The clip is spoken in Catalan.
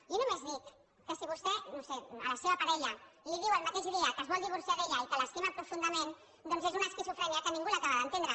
jo només dic que si vostè no ho sé a la seva parella li diu el mateix dia que es vol divorciar d’ella i que l’estima profundament doncs és una esquizofrènia que ningú l’acaba d’entendre